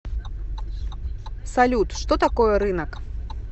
салют что такое рынок